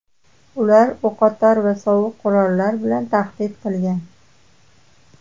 Ular o‘qotar va sovuq qurollar bilan tahdid qilgan.